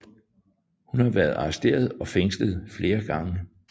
Hun har været arresteret og fængslet flere gange